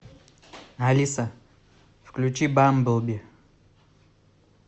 алиса включи бамблби